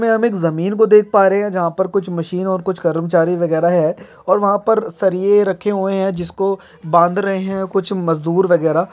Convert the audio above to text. --मे हम एक जमीन को देख पा रहे जहाँ पर कुछ मशीन और कुछ कर्मचारी वगैरा है और वहाँ पर सरिये रखे हुए है जिसको बांध रहे कुछ मजदूर वगैरा--